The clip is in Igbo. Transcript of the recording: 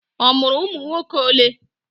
O mụrụ ụmụnwoke ole?